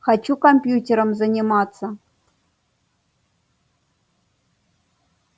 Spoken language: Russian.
хочу компьютером заниматься